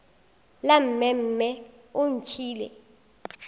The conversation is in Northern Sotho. la mme mme o ntšhiile